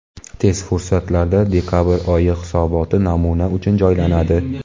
Tez fursatlarda dekabr oyi hisoboti namuna uchun joylanadi.